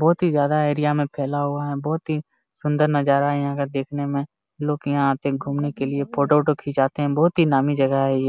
बहुत ही ज्यादा एरिया में फैला हुआ है बहुत ही सुंदर नजारा यहां का देखने में लोग यहां पर घूमने के लिए फोटो वोटो खींचते हैं बहुत ही नामी जगह है ये।